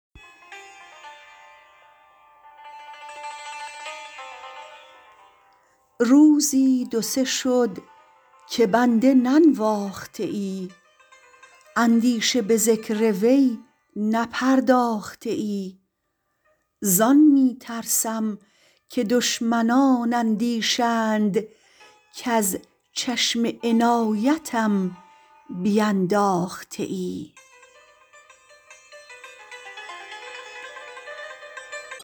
روزی دو سه شد که بنده ننواخته ای اندیشه به ذکر وی نپرداخته ای زان می ترسم که دشمنان اندیشند کز چشم عنایتم بینداخته ای